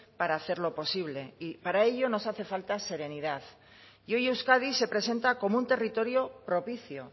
para hacerlo posible y para ello nos hace falta serenidad y hoy euskadi se presenta como un territorio propicio